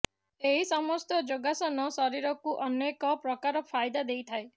ଏହି ସମସ୍ତ ଯୋଗାସନ ଶରୀରକୁ ଅନେକ ପ୍ରକାର ଫାଇଦା ଦେଇଥାଏ